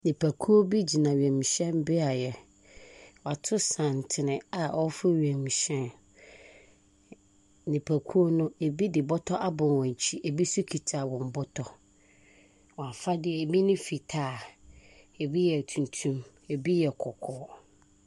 Nnipakuo bi gyina wiemhyɛnbeaeɛ. Wɔato santene a wɔreforo wiemhyɛn no. Nnipakuo no, ebi de bɔtɔ abɔ wɔn akyi. Ebi nso kita wɔn bɔtɔ. Wɔn afade, ebi ne fitaa, ebi yɛ tuntum. Ebi yɛ kɔkɔɔ.